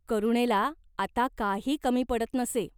करुणेला आता काही कमी पडत नसे.